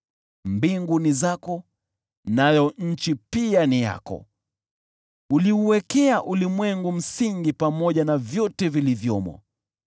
Mbingu ni zako, nayo nchi pia ni yako, uliuwekea ulimwengu msingi pamoja na vyote vilivyomo.